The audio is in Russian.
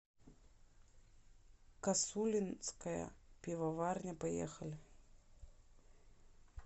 косулинская пивоварня поехали